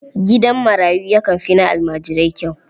Gidan marayu yakan fi na almajirai kyau.